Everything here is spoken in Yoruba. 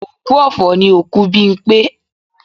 Òkú ọ̀fọ̀ ni òkú Bímpé